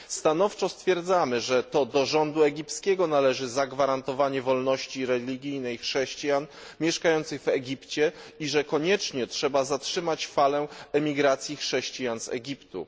Stanowczo stwierdzamy, że to do rządu egipskiego należy zagwarantowanie wolności religijnej chrześcijan mieszkających w Egipcie i że koniecznie trzeba zatrzymać falę emigracji chrześcijan z Egiptu.